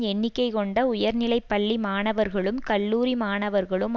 எண்ணிக்கை கொண்ட உயர்நிலை பள்ளி மாணவர்களும் கல்லூரி மாணவர்களும்